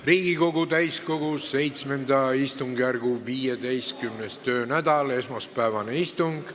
Riigikogu täiskogu VII istungjärgu 15. töönädal, esmaspäevane istung.